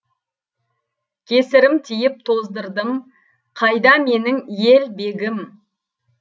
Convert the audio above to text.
кесірім тиіп тоздырдым қайда менің ел бегім